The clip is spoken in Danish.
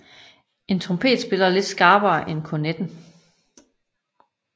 En trompet spiller lidt skarpere end kornetten